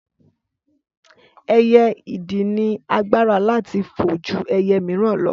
Ẹyẹ idì ni agbára láti fo ju ẹyẹ miran lọ